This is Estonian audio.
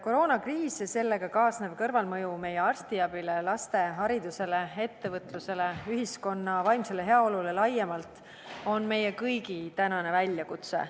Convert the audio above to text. Koroonakriis ja sellega kaasnev kõrvalmõju meie arstiabile, laste haridusele, ettevõtlusele ja ühiskonna vaimsele heaolule laiemalt on meie kõigi tänane väljakutse.